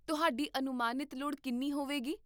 ਤੁਹਾਡੀ ਅਨੁਮਾਨਿਤ ਲੋੜ ਕਿੰਨੀ ਹੋਵੇਗੀ?